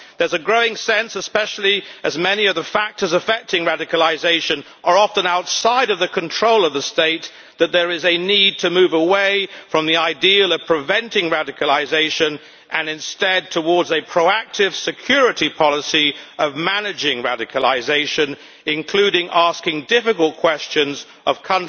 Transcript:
There is a growing sense, especially as many of the factors affecting radicalisation are often outside of the control of the state, that there is a need to move away from the ideal of preventing radicalisation and instead towards a proactive security policy of managing radicalisation, including asking difficult questions on the